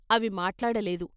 అవి మాట్లాడలేదు.